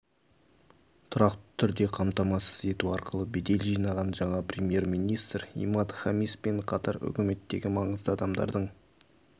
тұрақты түрде қамтамасыз ету арқылы бедел жинаған жаңа премьер-министр имад хамиспен қатар үкіметтегі маңызды адамдардың